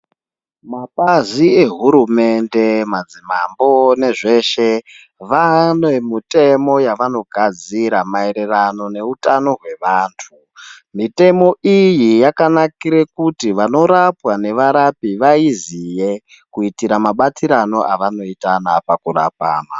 Mapazi ehurumende, madzimambo nezveshe, vane mitemo yawanogadzira maererano neutano hwevantu. Mitemo iyi yakanakire kuti vanorapwa nevarapi vaiziye kuitira mabatirano awanoitana pakurapana.